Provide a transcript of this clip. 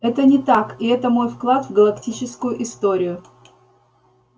это не так и это мой вклад в галактическую историю